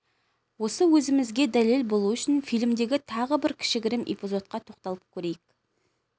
осы сөзімізге дәлел болуы үшін фильмдегі тағы бір кішігірім эпизодқа тоқталып көрейік